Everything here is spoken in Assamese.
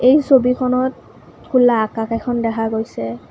এই ছবিখনত খোলা আকাশ এখন দেখা গৈছে।